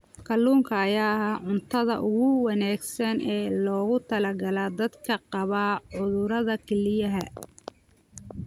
Kalluunka ayaa ah cuntada ugu wanaagsan ee loogu talagalay dadka qaba cudurrada kelyaha.